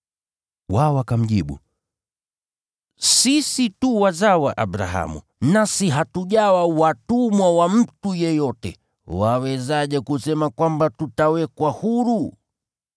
Wao wakamjibu, “Sisi tu wazao wa Abrahamu, nasi hatujawa watumwa wa mtu yeyote. Wawezaje kusema kwamba tutawekwa huru?”